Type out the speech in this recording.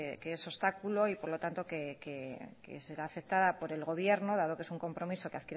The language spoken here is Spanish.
que es obstáculo y por lo tanto que será aceptada por el gobierno dado que es un compromiso que